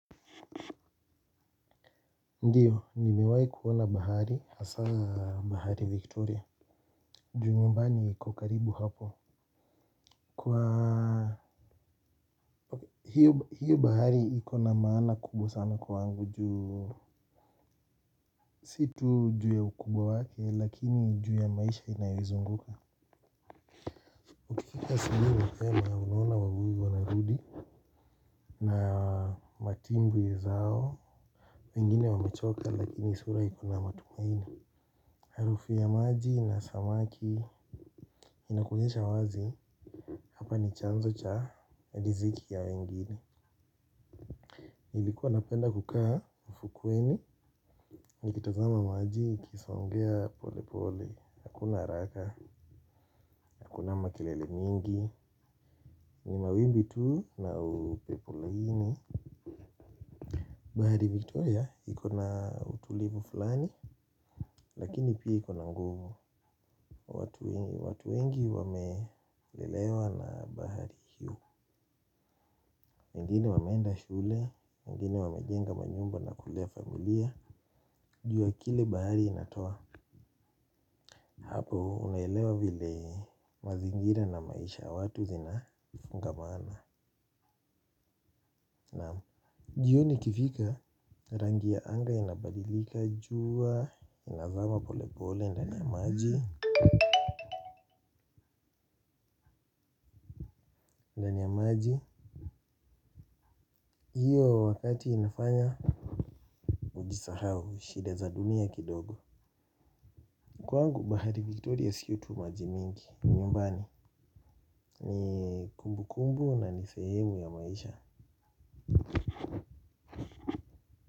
Ndio nimewahi kuona bahari hasa bahari victoria ju nyumbani iko karibu hapo. Kwa hiyo bahari iko na maana kubwa sana kwangu juu. Si tu juu ya ukubwa wake lakini juu ya maisha inayoizunguka ukifika asubuhi mapema unaona wavuvi wa narudi. Na matimbwi zao, wengine wamechoka lakini sura iko na matumaini. Harufu ya maji na samaki, inakuonyesha wazi, hapa ni chanzo cha, riziki ya wengine nilikuwa napenda kukaa ufukweni nikitazama maji ikisongea polepole hakuna haraka hakuna makelele mingi wawimbi tu na upepo laini, bahari vitu ya, iko na utulivu fulani, lakini pia iko na nguvu. Watu wengi wamelelewa na bahari hiyo wengine wameenda shule, wengine wamejenga manyumba na kulea familia. Juu ya kile bahari inatoa hapo unaelewa vile mazingira na maisha watu zinafungamana. Jioni ikifika rangi ya anga inabadilika jua inazama pole pole ndani ya maji hiyo wakati inafanya ujisahau shida za dunia kidogo kwangu bahari victoria sio tu maji mingi ni nyumbani. Ni kumbu kumbu na ni sehemu ya maisha.